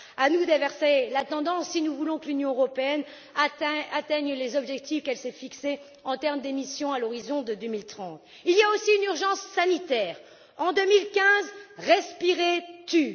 À nous d'inverser la tendance si nous voulons que l'Union européenne atteigne les objectifs qu'elle s'est fixés en termes d'émissions à l'horizon 2030. Il y a aussi une urgence sanitaire en 2015, respirer tue.